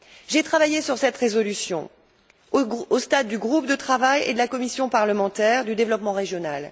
J'ai travaillé sur cette résolution au stade du groupe de travail et de la commission parlementaire du développement régional.